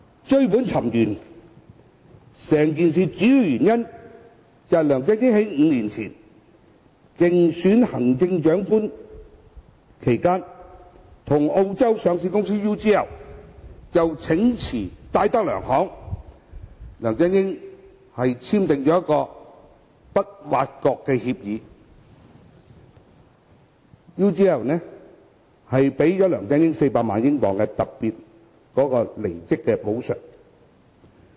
追本尋源，整件事的主要原因是梁振英在5年前競選行政長官期間，與澳洲上市公司 UGL 就呈辭戴德梁行簽訂不挖角協議 ，UGL 給了梁振英400萬英鎊的特別離職補償。